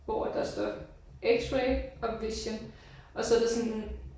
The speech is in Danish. Hvor at der står x-ray og vision og så der sådan